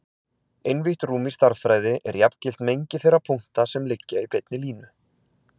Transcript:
Einvítt rúm í stærðfræði er jafngilt mengi þeirra punkta sem liggja á beinni línu.